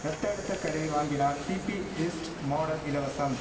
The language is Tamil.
ரத்த அழுத்த கருவி வாங்கினால் பிபிஈஸ்ட் மோடல் இலவசம்